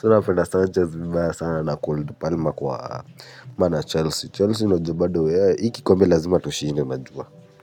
So napenda Sanchez bivaya sana na cold palma kwa maana Chelsea. Chelsea unajua bado. Hi kikombe lazima tushinde najua.